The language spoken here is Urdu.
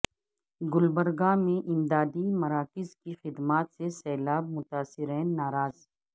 گلبرگہ میں امدادی مراکز کی خدمات سے سیلاب متاثرین ناراض